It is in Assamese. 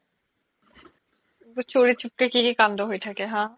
চোৰি চুপ্কে কি কি কান্দ হয় থাকে হা